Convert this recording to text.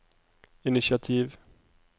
initiativ